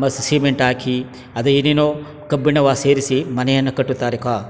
ಮ ಸಿಮೆಂಟ್ ಹಾಕಿ ಅದ್ ಏನೇನೊ ಕಬ್ಬಿಣವ್ ಸೇರಿಸಿ ಮನೆಯನ್ನು ಕಟ್ಟುತ್ತಾರೆ ಕ --.